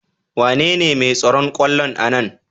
Wanene mai tsaron kwallon a Nan?